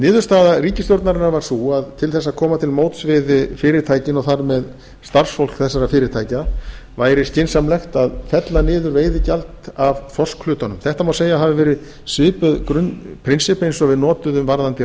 niðurstaða ríkisstjórnarinnar var sú að til þess að koma til móts við fyrirtækin og þar með starfsfólk þessara fyrirtækja væri skynsamlegt að fella niður veiðigjald af þorskhlutanum þetta má segja að hafi verið svipuð grunnprinsipp og við notuðum varðandi